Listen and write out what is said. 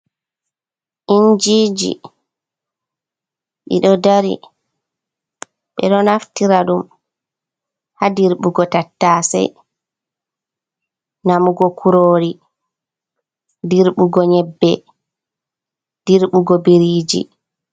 Injiji ɗi ɗo dari, ɓe ɗo naftira ɗum haa dirɓugo tattasey namugo kuroori ,dirɓugo nyebbe ,dirbugo biriiji.